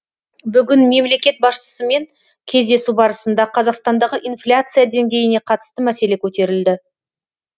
бүгін мемлекет басшысымен кездесу барысында қазақстандағы инфляция деңгейіне қатысты мәселе көтерілді